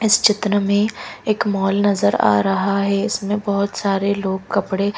इस चित्र में एक मॉल नजर आ रहा है इसमें बोहोत सारे लोग कपड़े--